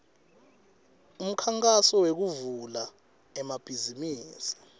umkhankaso wekuvula emabhizimisi